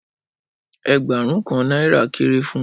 Ẹẹgbarun Kan naira kere fún mi.